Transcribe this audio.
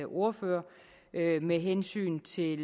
ordfører med hensyn til